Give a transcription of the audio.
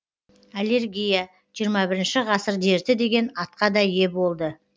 аллергия жиырма бірінші ғасыр дерті деген атқа да ие болды